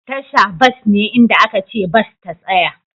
Tasha bas ne inda aka ce bas ta tsaya.